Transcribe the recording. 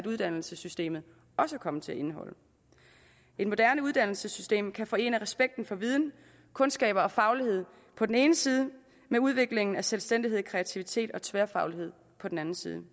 uddannelsessystemet også er kommet til at indeholde et moderne uddannelsessystem kan forene respekten for viden kundskaber og faglighed på den ene side med udviklingen af selvstændighed kreativitet og tværfaglighed på den anden side